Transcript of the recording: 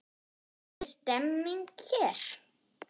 Er stemming hér?